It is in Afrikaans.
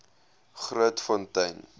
grootfontein